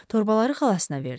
Torbaları xalasına verdi.